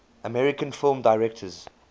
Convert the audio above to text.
american film directors